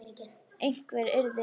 Einhver yrði að passa hann.